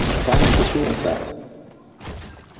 Hvað heldur þú um það?